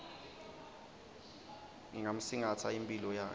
ngingamsingatsa imphilo yakhe